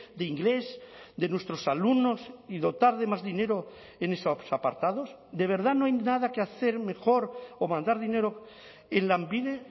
de inglés de nuestros alumnos y dotar de más dinero en esos apartados de verdad no hay nada que hacer mejor o mandar dinero en lanbide